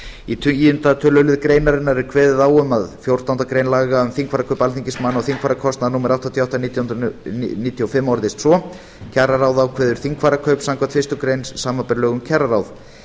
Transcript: í tíunda tölulið greinarinnar er kveðið á um að fjórtándu grein laga um þingfararkaup alþingismanna og þingfararkostnað númer áttatíu og átta nítján hundruð níutíu og fimm orðist svo kjararáð ákveði þingfararkaup samkvæmt fyrstu grein samanber lög um kjararáð